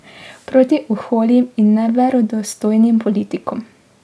Proti oholim in neverodostojnim politikom.